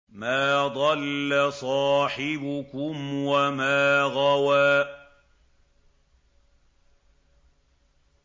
مَا ضَلَّ صَاحِبُكُمْ وَمَا غَوَىٰ